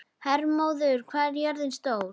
Hermóður, hvað er jörðin stór?